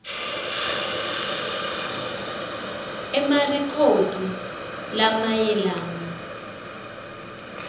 a emarekhodi lamayelana